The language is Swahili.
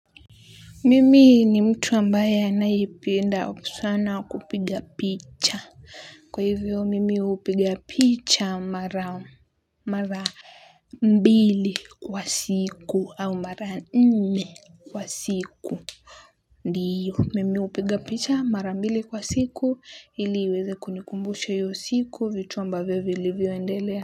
Mimi ni mtu ambaye anayipienda opusana kupiga picha. Kwa hivyo mimi hupiga picha mara mbili kwa siku au mara nne kwa siku. Ndiyo mimi hupiga picha mara mbili wa siku iliweze kunikumbushe hiyosiku vitu ambavio vilivyo endelea.